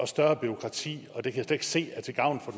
større bureaukrati og det kan ikke se er til gavn for